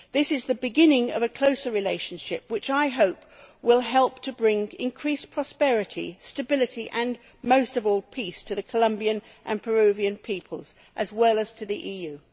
This is the beginning of a closer relationship which I hope will help to bring increased prosperity, stability and, most of all, peace to the Colombian and Peruvian peoples, as well as to the EU.